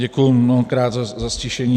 Děkuji mnohokrát za ztišení.